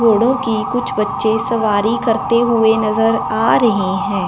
घोड़ों की कुछ बच्चे सवारी करते हुए नजर आ रहे हैं।